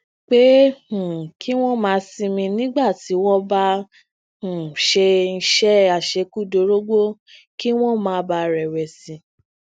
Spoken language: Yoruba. pé um kí wón máa sinmi nígbà tí wón bá um ń ṣe iṣé àṣekúdórógbó kí wón má bàa rèwèsì